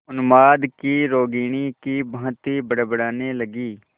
उन्माद की रोगिणी की भांति बड़बड़ाने लगी